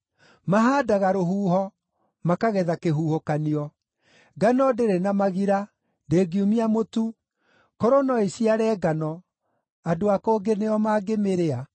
“Mahaandaga rũhuho, makagetha kĩhuhũkanio; ngano ndĩrĩ na magira, ndĩngiumia mũtu; korwo no ĩciare ngano, andũ a kũngĩ nĩo mangĩmĩrĩa.